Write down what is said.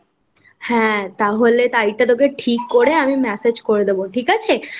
হ্যাঁ তাহলে তারিখ টা তোকে ঠিক করে আমি মেসেজ করে দেব ঠিক আছে?